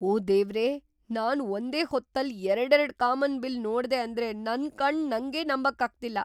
ಓಹ್ ದೇವ್ರೇ, ನಾನ್ ಒಂದೇ ಹೊತ್ತಲ್ಲಿ ಎರ್ಡೆರಡ್ ಕಾಮನ್‌ಬಿಲ್ಲ್‌ ನೋಡ್ದೆ ಅಂದ್ರೆ ನನ್‌ ಕಣ್ಣ್‌ ನಂಗೇ ನಂಬಕ್ಕಾಗ್ತಿಲ್ಲ!